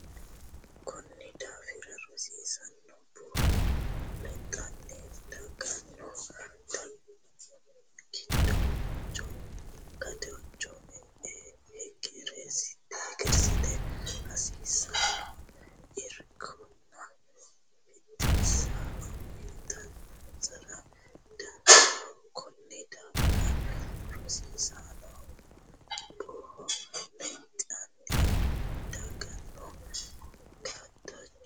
Konni daafira rosiisaano buhu lexxanni dagganno gadacho hegersite hasiissanno irkonna biddissa uytunsaro danchaho Konni daafira rosiisaano buhu lexxanni dagganno gadacho.